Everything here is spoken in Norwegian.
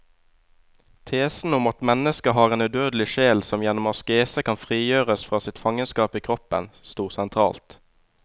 Tesen om at mennesket har en udødelig sjel som gjennom askese kan frigjøres fra sitt fangenskap i kroppen, stod sentralt.